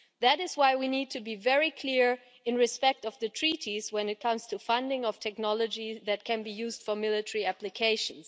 That is why we need to be very clear in respect of the Treaties when it comes to the funding of technology that can be used for military applications.